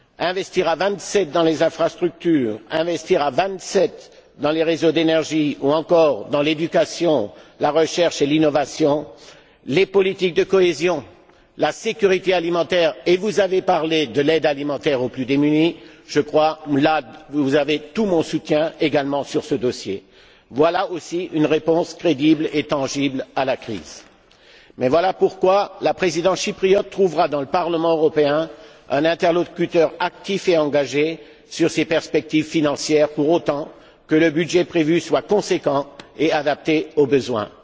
Investir à vingt sept dans les infrastructures, investir à vingt sept dans les réseaux d'énergie ou encore dans l'éducation, la recherche et l'innovation, les politiques de cohésion, la sécurité alimentaire, et vous avez parlé de l'aide alimentaire aux plus démunis, je crois, et sur ce dossier là aussi vous avez tout mon soutien. Voilà également une réponse crédible et tangible à la crise. La présidence chypriote trouvera dans le Parlement européen un interlocuteur actif et engagé sur ces perspectives financières, pour autant que le budget prévu soit suffisant et adapté aux besoins.